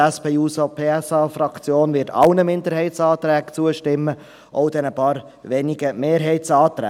Die SP-JUSO-PSAFraktion wird allen Minderheitsanträgen zustimmen – auch den paar wenigen Mehrheitsanträgen.